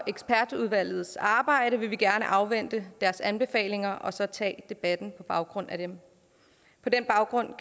ekspertudvalgets arbejde vil vi gerne afvente deres anbefalinger og så tage debatten på baggrund af dem på den baggrund